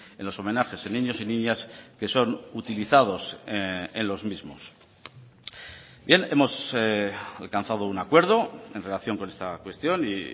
en los homenajes en niños y niñas que son utilizados en los mismos bien hemos alcanzado un acuerdo en relación con esta cuestión y